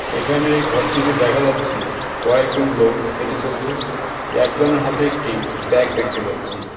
এখানে ঘরটিতে দেখা যাচ্ছে কয়েকজন লোক হেটে চলছে একজনের হাতে একটি ব্যাগ দেখতে পাচ্ছি .